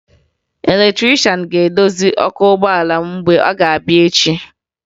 Eletrịshan ga-edozi ọkụ ụgbọala m mgbe ọ ga-abịa echi